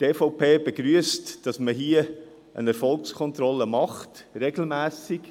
Die EVP begrüsst, dass man eine Erfolgskontrolle macht – regelmässig.